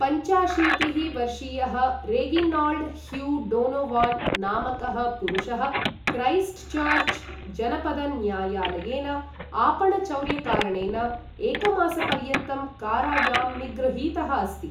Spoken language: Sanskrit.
पञ्चाशीतिः वर्षीयः रेगिनाल्ड् ह्यु डोनोवान् नामकः पुरुषः क्रैस्ट् चर्च् जनपदन्यायालयेन आपणचौर्यकारणेन एकमासपर्यन्तं कारायां निगृहीतः अस्ति।